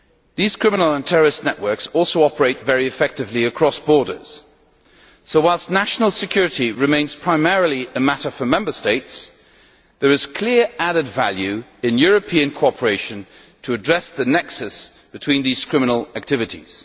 These criminal and terrorist networks also operate very effectively across borders, so whilst national security remains primarily a matter for Member States, there is clear added value in European cooperation to address the nexus between these criminal activities.